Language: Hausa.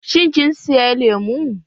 Shin kin saya lemu?